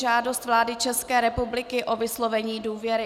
Žádost vlády České republiky o vyslovení důvěry